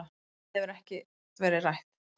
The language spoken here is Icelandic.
Annað hefur ekkert verið rætt